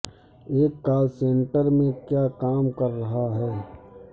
ایک call centre میں کیا کام کر رہا ہے